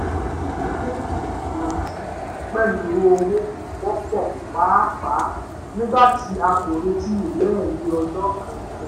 wọ́n ní yíyanjú pẹ̀lú owó wọ́pọ̀ pàápàá nígbàtí a kò retí ìwé ẹ̀rí ọjà kankan